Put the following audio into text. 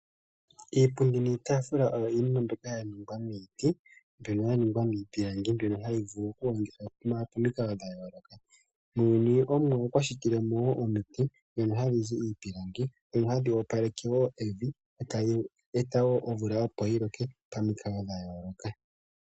Iipundi niitafula oyo iinima mbyoka ya ningwa miiti mbyono ya ningwa miipilangi mbyono hayi vulu okulongithwa pomikalo dha yooloka . Muuyini omuwa okwa shitile mo woo omiti dhono hadhi zi iipilangi, ndhono hadhi opaleke woo evi eta yi eta woo omvula opo yiloke pomikalo dha yooloka.